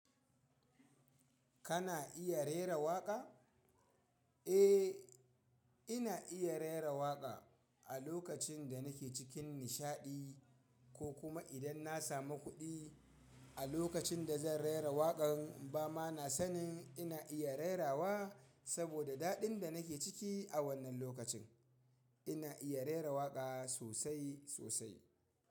Kana iya rera waƙa? Eh, ina iya rera waƙa a lokacin da nake cikin nishaɗi ko kuma idan na samu kuɗi. A lokacin da zan rera waƙan ba ma na sanin ina iya rerawa saboda daɗin da nake ciki a wannan lokacin. Ina iya rera waƙa sosai sosai.